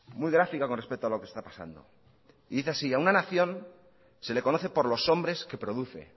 muy gráfico con respecto a lo que está pasando y dice así a una nación se le conoce por los hombres que le produce